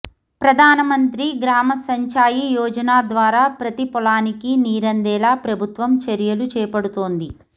ప్రధానమంత్రి గ్రామ సించాయి యోజన ద్వారా ప్రతి పొలానికీ నీరందేలా ప్రభుత్వం చర్యలు చేపడుతోంది